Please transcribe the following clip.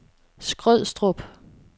Skrødstrup